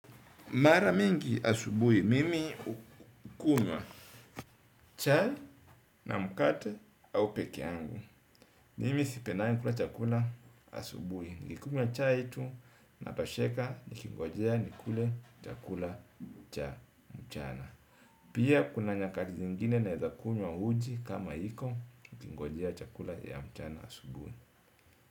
Mara mingi asubuhi, mimi hukunywa chai na mkate au pekee yangu. Mimi sipendangi kula chakula asubuhi. Nikikunywa chai tu natosheka nikingojea nikule chakula cha mchana. Pia kuna nyakati zingine naeza kunywa uji kama iko nikingojea chakula ya mchana asubui.